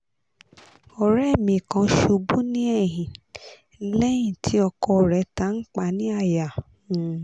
ore mi kan ṣubu ni ẹyin lẹyin ti ọkọ re tanpa ni àyà um